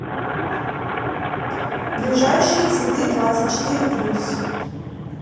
ближайший цветыдвадцатьчетыре плюс